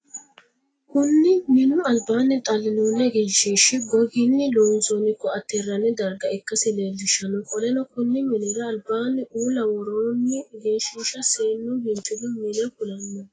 Kunni minnu albaanni xalinnonni egenshiishi goginni loonsoonni koate hiranni darga ikasi leelishano. Qoleno konni minnira albaanni uula woroonni egenshiishi seenu biinfilu minne kulanoho.